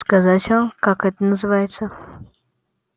сказать вам как это называется